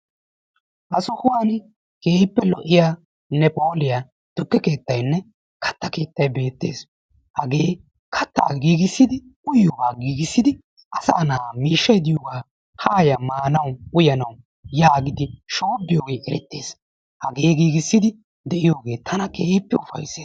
Ha sohuwan keehippe lo'iyanne phooliya tukkee keettayinne katta keettay beettees. Hagee kattaa giigissidi uyiyoogaa giigissidi asaa na'aa miishshay diyogaa haaya maanawu uyanawu yaagidi shoobbiyoogee erettes. Hagee giigissidi de'iyoogee tana keehippe ufayissees.